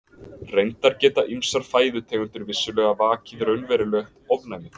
Reyndar geta ýmsar fæðutegundir vissulega vakið raunverulegt ofnæmi.